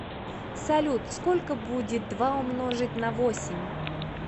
салют сколько будет два умножить на восемь